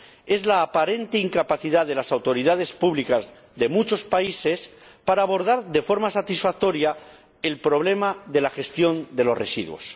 es la aparente incapacidad de las autoridades públicas de muchos países para abordar de forma satisfactoria el problema de la gestión de los residuos.